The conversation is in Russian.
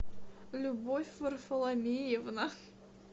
любовь варфоломеевна